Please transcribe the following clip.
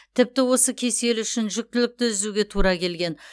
тіпті осы кеселі үшін жүктілікті үзуге тура келген